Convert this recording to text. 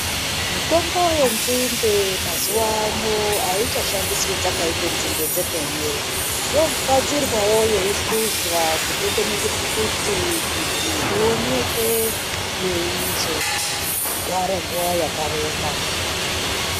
Mitombo yenzinde mazuano aichashandiswi dzakaite nzinde dzemene inogadzirwawo yeisvuzwa kubekwe muzviphakiti kuti ioneke yeizogare nguva yakareba.